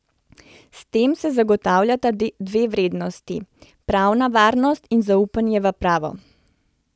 S tem se zagotavljata dve vrednoti, pravna varnost in zaupanje v pravo.